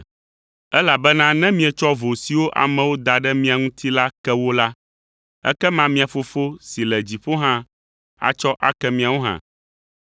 Elabena ne mietsɔ vo siwo amewo da ɖe mia ŋuti la ke wo la, ekema mia Fofo si le dziƒo hã atsɔ ake miawo hã.